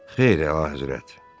Xeyr, əlahəzrət.